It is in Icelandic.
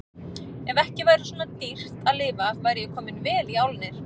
Ef ekki væri svona dýrt að lifa væri ég kominn vel í álnir.